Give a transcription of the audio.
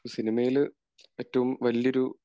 സിനമയിൽ ഏറ്റവും വലിയൊരു